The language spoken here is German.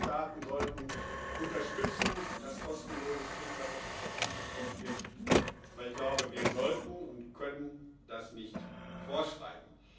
Die Mitgliedstaaten sollten unterstützen, dass kostenloses Trinkwasser zur Verfügung gestellt wird, weil ich glaube, wir sollten und können das nicht vorschreiben.